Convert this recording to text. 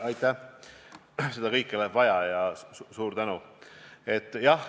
Aitäh, seda kõike läheb vaja!